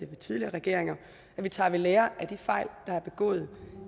tidligere regeringer at vi tager ved lære af de fejl der er begået